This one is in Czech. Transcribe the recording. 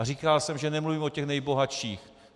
A říkal jsem, že nemluvím o těch nejbohatších.